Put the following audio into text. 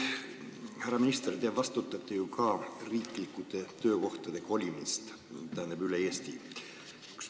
Härra minister, te vastutate ju ka riiklike töökohtade kolimise eest üle Eesti.